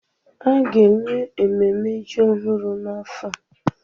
A ga-enwe ememme ji ọhụrụ n'afọ a?